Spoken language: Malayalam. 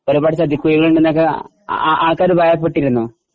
ഒരുപാട് ചതിക്കുഴികളുണ്ടെന്നൊക്കെ ആൾക്കാര് പറയപ്പെട്ടിരുന്നു